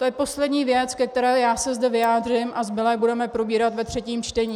To je poslední věc, ke které se zde vyjádřím, a zbylé budeme probírat ve třetím čtení.